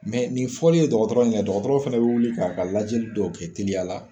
nin fɔli ye dɔgɔtɔrɔ ɲɛ dɔgɔtɔrɔ fana bɛ wuli k'a ka lajɛli dɔw kɛ teliya la